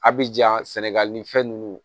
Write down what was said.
A bi ja sɛnɛgali ni fɛn nunnu